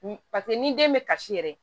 Paseke ni den bɛ kasi yɛrɛ